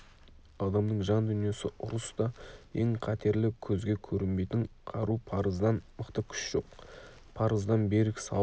адамның жан дүниесі ұрыста ең қатерлі көзге көрінбейтін қару парыздан мықты күш жоқ парыздан берік сауыт